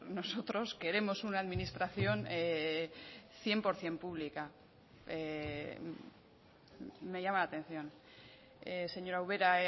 nosotros queremos una administración cien por ciento pública me llama la atención señora ubera